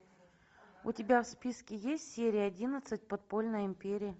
у тебя в списке есть серия одиннадцать подпольная империя